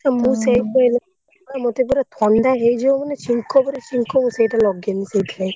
ମୁଁ ସେଇଥିପାଇଁ ଲଗାଉନି ପରା ମତେ ପୁରା ଥଣ୍ଡା ହେଇଯିବ ପୁରା ଛିଙ୍କ ଉପରେ ଛିଙ୍କ ମୁଁ ସେଇଟା ଲଗାଏନି ସେଇଥିପାଇଁ।